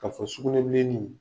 Ka fɔ sugunɛ bilenin